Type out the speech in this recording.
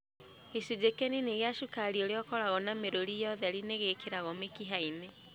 Gĩcunjĩ kĩnini kĩa cukari ũrĩa ũkoragwo na mĩrũri ya ũtheri nĩ gĩkĩragwo mĩkiha-inĩ.